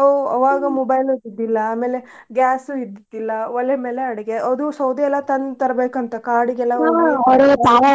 ಅವ್ mobile ಇರ್ತಿದ್ದಿಲ್ಲಾ ಆಮೇಲೆ gas ಇದ್ದಿದ್ದಿಲ್ಲಾ ಒಲೆ ಮೇಲೆ ಅಡ್ಗೆ ಅದು ಸೌದಿ ಎಲ್ಲಾ ತಂದ್ ತರ್ಬೇಕ ಅಂತ ಕಾಡಿಗೆಲ್ಲಾ .